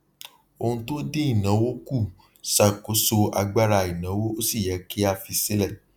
ohun tó dín ìnáwó kù ṣàkóso agbára ìnáwó ó sì yẹ kí a fi sílẹ